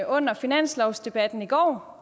under finanslovsdebatten i går